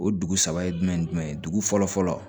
O dugu saba ye jumɛn ye jumɛn ye dugu fɔlɔ fɔlɔ